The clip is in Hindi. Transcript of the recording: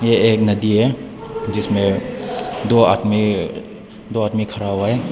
ये एक नदी है जिसमें दो आदमी दो आदमी खड़ा हुआ है।